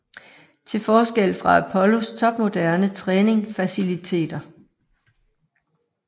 Til forskel fra Apollos topmoderne træning faciliteter